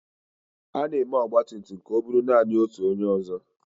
A na-eme ọgba tum tum ka o buru naanị otu onye ọzọ.